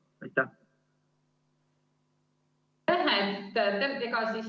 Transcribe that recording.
Aitäh!